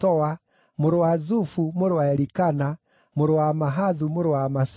mũrũ wa Zufu, mũrũ wa Elikana, mũrũ wa Mahathu mũrũ wa Amasai,